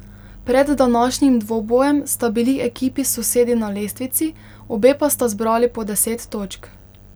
Pred današnjim dvobojem sta bili ekipi sosedi na lestvici, obe pa sta zbrali po deset točk.